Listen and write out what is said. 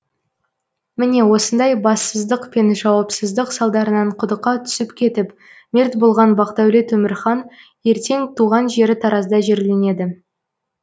міне осындай бассыздық пен жауапсыздық салдарынан құдыққа түсіп кетіп мерт болған бақдәулет өмірхан ертең туған жері таразда жерленеді